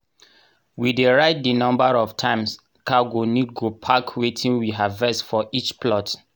we dey write di number of times car go need go park wetin we harvest for each plot.